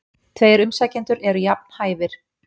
Tveir umsækjendur eru jafn hæfir.